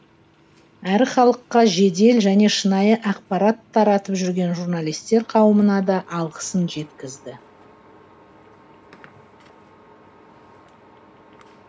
әрі халыққа жедел және шынайы ақпарат таратып жүрген журналистер қауымына да алғысын жеткізді